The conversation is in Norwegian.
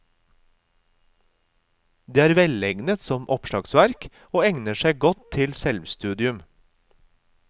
Den er velegnet som oppslagsverk og egner seg godt til selvstudium.